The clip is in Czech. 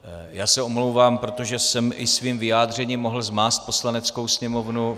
Já se omlouvám, protože jsem i svým vyjádřením mohl zmást Poslaneckou sněmovnu.